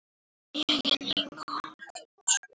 Gerðum allt saman.